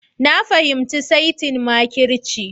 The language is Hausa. Na fahimci saitin makirci